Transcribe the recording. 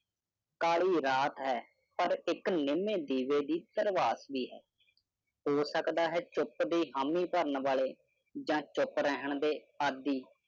ਕਾਲੀ ਰਾਤ ਹੈ ਪਰ ਇਕ ਨਿਮੇ ਦੀਵੇ ਦੀ ਵੀ ਹੈ। ਹੋ ਸਕਦਾ ਹੈ ਚੁੱਪ ਦੀ ਹਾਮੀ ਭਰਨ ਵਾਲੇ ਜਾ ਚੁੱਪ ਰਹਿਣ ਦੇ ਆਦਿ